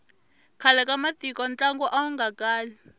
khale ka matiko ntlangu awu nga kali